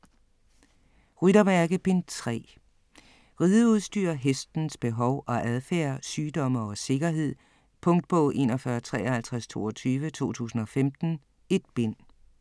Ryttermærke: Bind 3 Rideudstyr, hestens behov og adfærd, sygdomme og sikkerhed. Punktbog 415322 2015. 1 bind.